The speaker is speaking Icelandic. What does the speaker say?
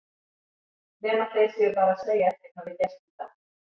Nema þeir séu bara að segja að ekkert hafi gerst í dag.